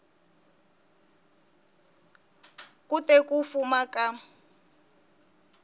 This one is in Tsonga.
ku te ku fuma ka